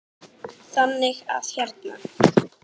Þannig að hérna.